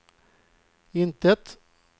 intet